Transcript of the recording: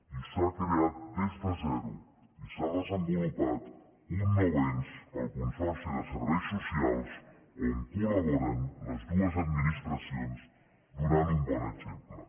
i s’ha creat des de zero i s’ha desenvolupat un nou ens el consorci de serveis socials on col·laboren les dues administracions donant un bon exemple